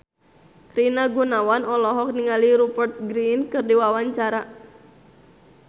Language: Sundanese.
Rina Gunawan olohok ningali Rupert Grin keur diwawancara